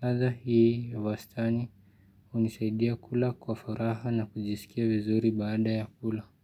Latha hii ya wastani unisaidia kula kwa faraha na kujisikia vizuri baada ya kula.